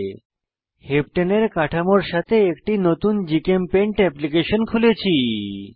হেপ্টানে heptane এর কাঠামোর সাথে একটি নতুন জিচেমপেইন্ট অ্যাপ্লিকেশন খুলেছি